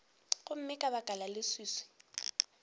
gomme ka baka la leswiswi